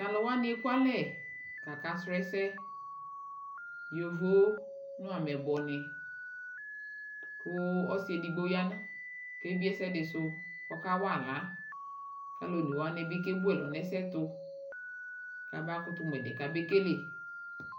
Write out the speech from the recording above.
Taluwanii ekualɛ kaka srɔ ɛɛsɛ Yovo Nameyiibɔ nii kuu ɔsiɛdigbo yaa kebie ɛsɛdɛ suu kɔka waa aɣlaa kalu onewani bi kebuɛlu nɛsɛɛtu kabakutu muɛdi kabekele